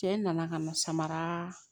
Cɛ nana ka na samara